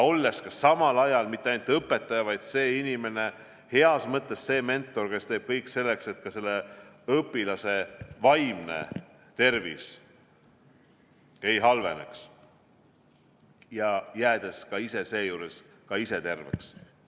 Ja olles samal ajal mitte ainult õpetaja, vaid see inimene, heas mõttes see mentor, kes teeb kõik selleks, et ka selle õpilase vaimne tervis ei halveneks, ja jäädes seejuures ka ise terveks.